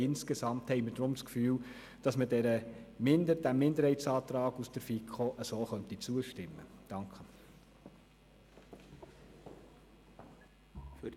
Insgesamt haben wir darum das Gefühl, dass wir dem FiKoMinderheitsantrag so zustimmen können.